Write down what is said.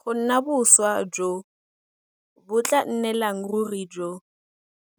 go nna boswa jo bo tla nnelang ruri jo